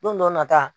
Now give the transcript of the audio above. Don dɔ nata